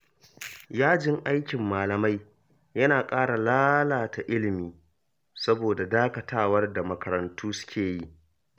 Yajin aikin malamai yana ƙara lalata ilimi, saboda dakatawar da makarantu suke yi.